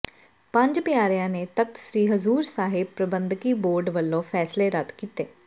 ਪੰਜ ਪਿਆਰਿਆਂ ਨੇ ਤਖ਼ਤ ਸ੍ਰੀ ਹਜ਼ੂਰ ਸਾਹਿਬ ਪ੍ਰਬੰਧਕੀ ਬੋਰਡ ਵੱਲੋਂ ਫੈਸਲੇ ਰੱਦ ਕੀਤੇ